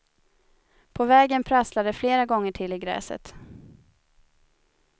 På vägen prasslar det flera gånger till i gräset.